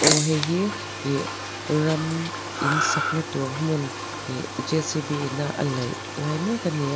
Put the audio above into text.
aw hei hi ih ram in sakna tûr hmun ih J_C_B ina a laih lai mêk a ni a.